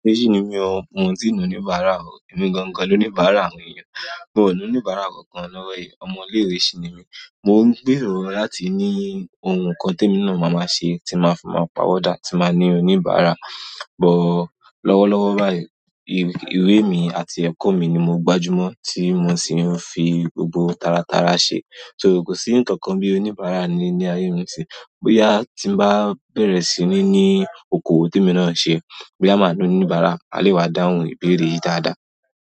Ṣé sì ni mí ọ̀hún, mo sì ń ní oníbàárà ọ̀. Èmi gangan ló ní oníbàárà àwọn èèyàn. Mò ń ní oníbàárà kankan lọ́wọ́ yí. Ọmọ ilé ìwé sọ ni mí. Mò ń gbèrò láti ní ohun kan tí emi máa ṣe tí máa fii ma pa wọ́dà tí máa fi ní oníbàárà. Lọ́wọ́lọ́wọ́ báyìí, ìwé mi àti ẹ̀kọ́ mi ni mo gbájú mọ́, tí mo sì ń fi gbogbo tara tara ṣe. So, kò sí ǹkan kan bí i oníbàárà ní ayé aye mi ni nisin. Bíya tí ń bá bẹ̀rẹ̀ sí ní ní okowo tí emi náà ṣe, boya máa ní oníbàárà, maa lè wá dáhùn ìbéèrè yìí dáadáa.